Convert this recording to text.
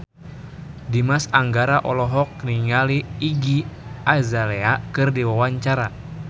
Dimas Anggara olohok ningali Iggy Azalea keur diwawancara